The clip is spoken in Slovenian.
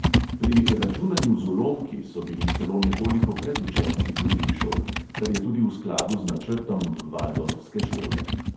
Pri računanju z ulomki so bili celo nekoliko pred učenci drugih šol, kar je tudi v skladu z načrtom valdorfske šole.